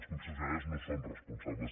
les concessionàries no en són responsables